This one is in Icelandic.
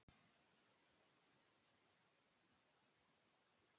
Og hver er niðurstaðan, virðulegi forseti?